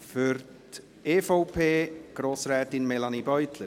Für die EVP: Grossrätin Melanie Beutler.